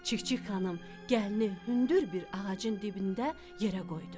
Çik-çik xanım gəlini hündür bir ağacın dibində yerə qoydu.